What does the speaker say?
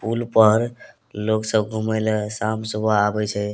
पूल पर लोग सब घुमय लए शाम सुबह आवे छै।